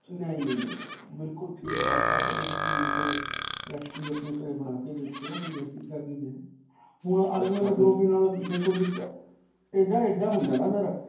ਨਹੀਂ. ਨਹੀਂ. ਨਹੀਂ. ਬਿਲਕੁਲ ਠੀਕ ਬਣੇਗਾ. ਕਦੀ ਤੁਸੀਂ ਇਹੀ recipe ਅਪਨੇ ਘਰੇ ਬਣਾ ਕੇ ਦੇਖਿਓ. ਕੋਈ ਐਸੀ ਗੱਲ ਨਹੀਂ ਹੈ. ਹੁਣ ਆਲੂਆਂ ਦੇ ਪਰੌਂਠੇ ਨਾਲ ਦੇਖੋ ਇਹਦਾ ਇੱਦਾਂ ਹੁੰਦਾ ਨਾ ਫਿਰ.